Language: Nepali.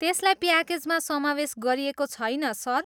त्यसलाई प्याकेजमा समावेस गरिएको छैन, सर।